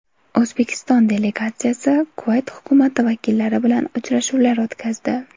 O‘zbekiston delegatsiyasi Kuvayt hukumati vakillari bilan uchrashuvlar o‘tkazdi.